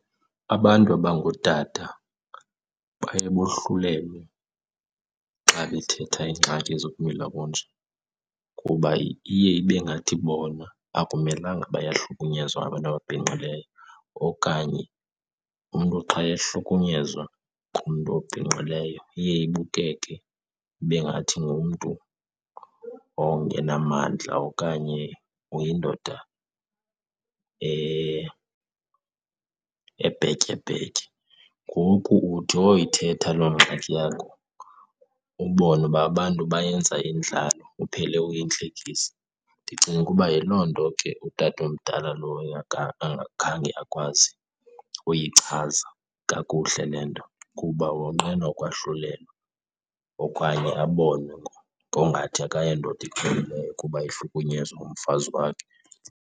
Abantu abangootata baye bohlulelwe xa bethetha iingxaki zokumila kunje kuba iye ibe ngathi bona akumelanga bayahlukunyezwa ngabantu ababhinqileyo, okanye umntu xa ehlukunyezwa ngumntu obhinqileyo iye ibukeke ibe ngathi ngumntu ongenamandla okanye uyindoda ebhetyebhetye. Ngoku uthi woyithetha loo ngxaki yakho ubone uba abantu bayenza indlalo, uphele uyintlekisa. Ndicinga ukuba yiloo nto ke utata omdala lo angakhange akwazi uyichaza kakuhle le nto, kuba wonqena ukwahlulelwa okanye abonwe ngokungathi akayondoda ipheleleyo kuba ehlukunyezwa ngumfazi wakhe.